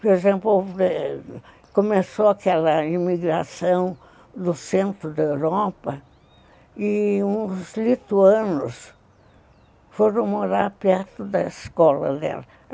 Por exemplo, eh... começou aquela imigração do centro da Europa, e os lituanos foram morar perto da escola dela.